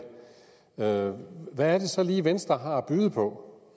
hvad er det så lige venstre har at byde på